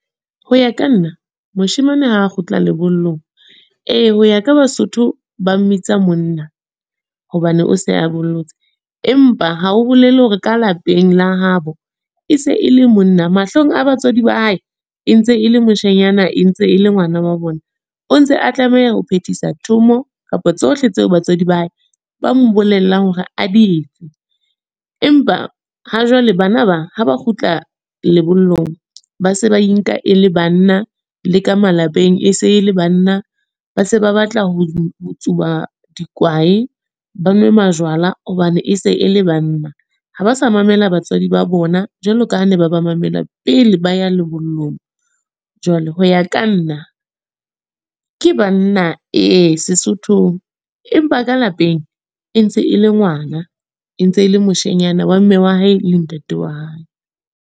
Ho ya ka nna, moshemane ha kgutla lebollong. Ee ho ya ka Basotho ba mmitsa monna, hobane o se a bollotse. Empa haho bolele hore ka lapeng la habo, e se e le monna. Mahlong a batswadi ba hae e ntse e le moshanyana, e ntse e le ngwana wa bona. O ntse a tlameha ho phethisa thomo, kapa tsohle tseo batswadi ba hae ba mo bolella hore a di etse. Empa ha jwale bana ba, ha ba kgutla lebollong. Ba se ba e nka e le banna le ka malapeng, e se le banna. Ba se ba batla ho tsuba dikwae, ba nwe majwala hobane e se e le banna. Ha ba sa mamela batswadi ba bona, jwalo ka ha ne ba ba mamela pele ba ya lebollong. Jwale ho ya ka nna, ke banna ee Sesothong. Empa ka lapeng, e ntse e le ngwana. E ntse le moshanyana wa mme wa hae le ntate wa hae.